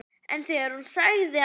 En þegar hún sagði að